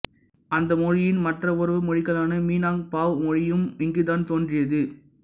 அந்த மொழியின் மற்ற உறவு மொழிகளான மினாங்கபாவ் மொழியும் இங்குதான் தோன்றியது